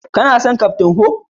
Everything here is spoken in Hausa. Ka na son kaftin huk?